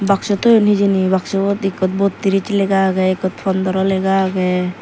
boxsu toyoun hejani boxsu bot ekkot bowtrish lega agey ekkot pondro lega agey.